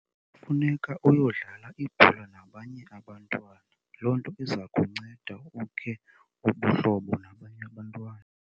Kufuneka uyodlala ibhola nabanye abantwana. Loo nto iza kunceda ukhe ubuhlobo nabanye abantwana.